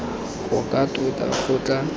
go ka tota go tla